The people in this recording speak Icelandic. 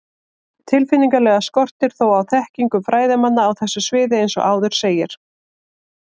Tilfinnanlega skortir þó á þekkingu fræðimanna á þessu sviði eins og áður segir.